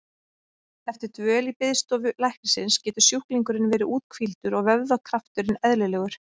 Eftir dvöl í biðstofu læknisins getur sjúklingurinn verið úthvíldur og vöðvakrafturinn eðlilegur.